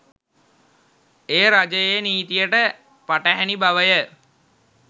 එය රජයේ නීතියට පටහැනි බවය